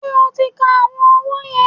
Ṣé o ti ka àwọn owó yẹn?